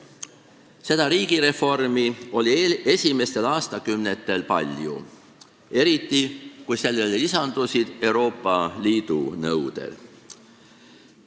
Seda riigireformi oli esimestel aastakümnetel palju, eriti kui sellele lisandusid Euroopa Liidu nõuded.